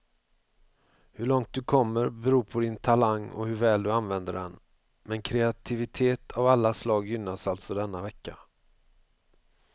Hur långt du kommer beror på din talang och hur väl du använder den, men kreativitet av alla slag gynnas alltså denna vecka.